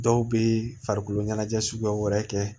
Dɔw bɛ farikolo ɲɛnajɛ suguya wɛrɛ kɛ